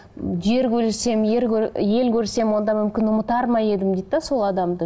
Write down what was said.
жер көрсем ел көрсем онда мүмкін ұмытар ма едім дейді де сол адамды